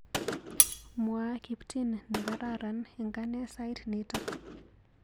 Mwa kiptin nekararan eng ane sait nito.